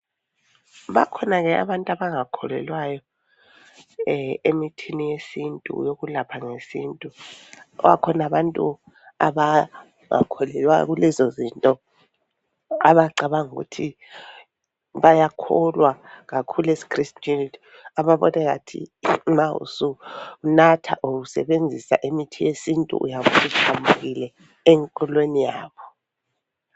Bakhona ke abantu abangakholelwayo emithini yesintu yokulapha ngesintu. Bakhona abantu abangakholelwayo kulezo zinto abacabanga ukuthi bayakholwa kakhulu esikhristwini ababone ngathi ma usunatha or usebenzisa imithi yesintu uyabe suphambukile enkolweni yabo.